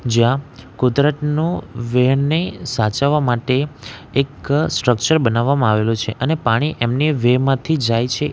જ્યાં કુદરતનું વ્હેનને સાચવવા માટે એક સ્ટ્રક્ચર બનાવામાં આવેલું છે અને પાણી એમની વેહ માંથી જાય છે એ --